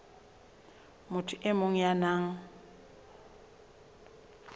motho e mong ya nang